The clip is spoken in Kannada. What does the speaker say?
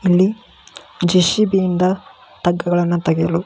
ಅಲ್ಲಿ ಜೆ.ಸಿ.ಬಿ ಇಂದ ಟಗ್ ಗಳನ್ನ ತೆಗೆಯಲು --